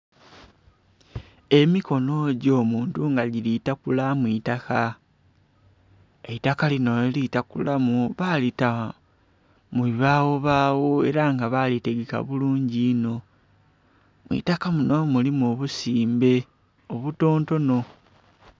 Emikonho gyo muntu nga gili takula mwi'taka, eitaka linho kyali takulamu balita mu bibawobawo era nga balitegeka bulungi inho. Mwitaka kinho mulimu obusimbe obutontono.